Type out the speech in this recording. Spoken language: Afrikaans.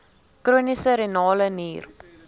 chroniese renale nier